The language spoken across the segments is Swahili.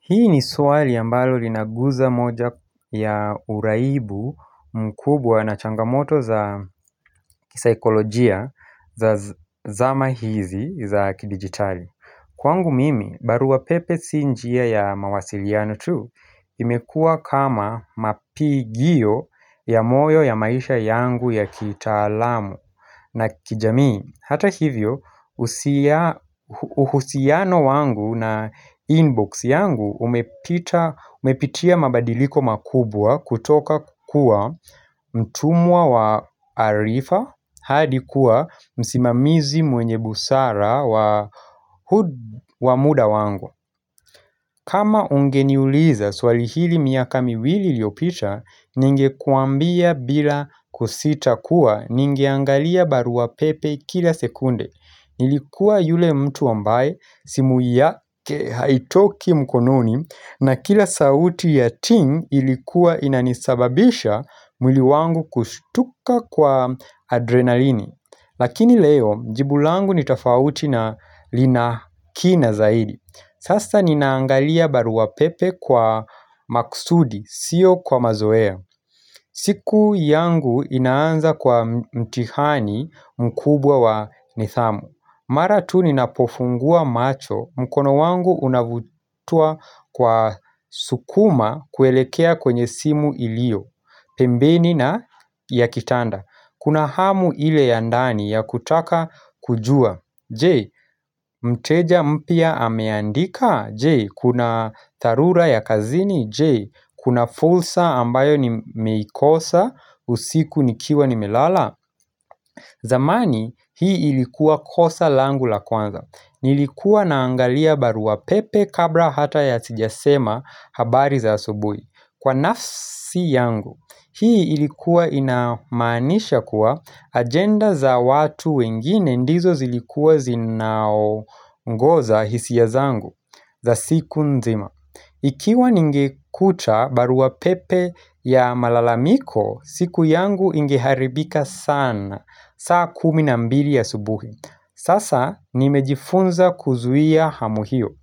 Hii ni swali ambalo linaguza moja ya uraibu mkubwa na changamoto za kisaikolojia za zama hizi za kidigitali. Kwangu mimi, barua pepe si njia ya mawasiliano tu imekuwa kama mapigiyo ya moyo ya maisha yangu ya kitaalamu na kijamii. Hata hivyo, uhusiano wangu na inbox yangu umepitia mabadiliko makubwa kutoka kukua mtumwa wa arifa hadi kuwa msimamizi mwenye busara wa muda wangu. Kama ungeniuliza swali hili miaka miwili iliyopita, ningekuambia bila kusita kuwa, ningeangalia barua pepe kila sekunde. Nilikuwa yule mtu ambaye, simu yake haitoki mkononi, na kila sauti ya ting ilikuwa inanisababisha mwili wangu kushtuka kwa adrenalini. Lakini leo, jibu langu ni tofauti na lina kina zaidi. Sasa ninaangalia barua pepe kwa maksudi, sio kwa mazoea. Siku yangu inaanza kwa mtihani mkubwa wa nidhamu. Mara tu ninapofungua macho, mkono wangu unavutwa kwa sukuma kuelekea kwenye simu iliyo, pembeni na ya kitanda. Kuna hamu ile ya ndani ya kutaka kujua. Jee, mteja mpya ameandika? Jee, kuna dharura ya kazini? Jee, kuna fulsa ambayo nimeikosa, usiku ni kiwa ni melala? Zamani hii ilikuwa kosa langu la kwanza. Nilikuwa naangalia barua pepe kabla hata ya sijasema habari za asubuhi. Kwa nafsi yangu, hii ilikuwa inamaanisha kuwa agenda za watu wengine ndizo zilikuwa zinaongoza hisia zangu za siku nzima. Ikiwa ningukucha baruapepe ya malalamiko, siku yangu ingeharibika sana, saa kumi na mbili asubuhi. Sasa nimejifunza kuzuia hamu hiyo.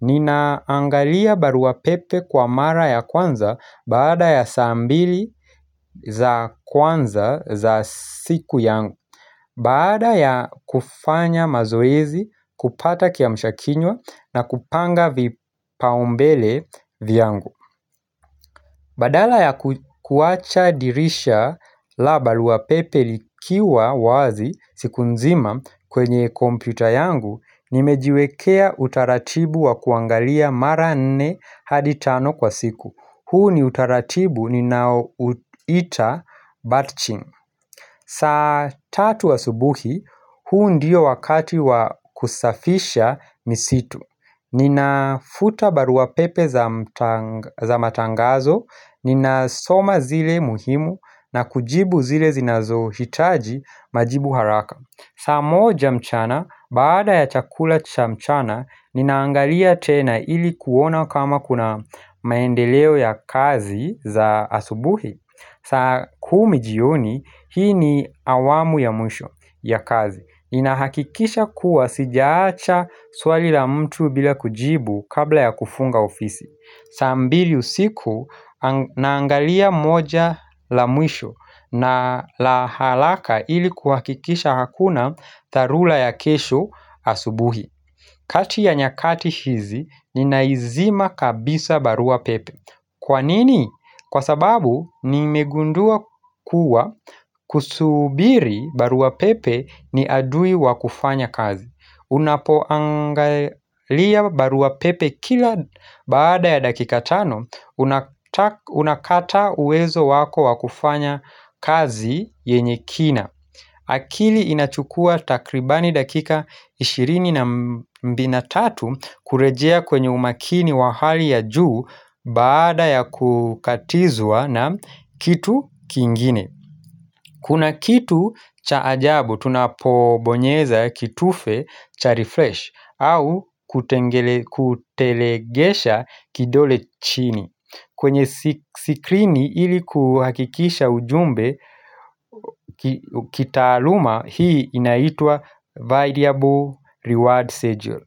Ninaangalia baruapepe kwa mara ya kwanza baada ya saa mbili za kwanza za siku yangu. Baada ya kufanya mazoezi, kupata kiamshakinywa na kupanga vipaumbele vyangu Badala ya kuwacha dirisha la barua pepe likiwa wazi siku nzima kwenye kompyuta yangu, Nimejiwekea utaratibu wa kuangalia mara nne hadi tano kwa siku. Huu ni utaratibu ninaouita batching. Saa tatu wa asubuhi, huu ndiyo wakati wa kusafisha misitu Ninafuta baruapepe za matangazo, ninasoma zile muhimu na kujibu zile zinazohitaji majibu haraka. Saa moja mchana, baada ya chakula cha mchana, ninaangalia tena ili kuona kama kuna maendeleo ya kazi za asubuhi saa kumi jioni, hii ni awamu ya mwisho ya kazi. Ninahakikisha kuwa sijaacha swali la mtu bila kujibu kabla ya kufunga ofisi saa mbili usiku naangalia moja la mwisho na la halaka ili kuhakikisha hakuna dharula ya kesho asubuhi kati ya nyakati hizi ninaizima kabisa barua pepe Kwa nini? Kwa sababu nimegundua kuwa kusubiri barua pepe ni adui wa kufanya kazi. Unapoangalia barua pepe kila baada ya dakika tano unakata uwezo wako wa kufanya kazi yenye kina. Akili inachukua takribani dakika ishirini na mbina tatu kurejea kwenye umakini wa hali ya juu baada ya kukatizwa na kitu kingine Kuna kitu cha ajabu tunapobonyeza kitufe cha refresh au kutelegesha kidole chini kwenye sikrini ili kuhakikisha ujumbe kitaaluma hii inaitwa variable reward schedule.